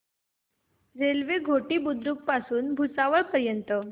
railway Ghoti Budruk पासून भुसावळ पर्यंत